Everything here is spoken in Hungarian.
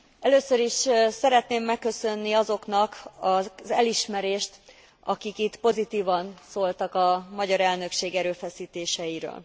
Először is szeretném megköszönni azoknak az elismerést, akik itt pozitívan szóltak a magyar elnökség erőfeszítéseiről.